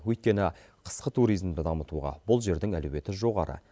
өйткені қысқы туризмді дамытуға бұл жердің әлеуеті жоғары